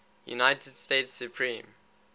united states supreme